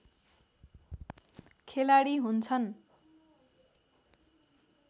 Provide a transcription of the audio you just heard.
खेलाडी हुन्छन्